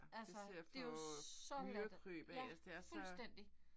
Det er til at få myrekryb af altså det er så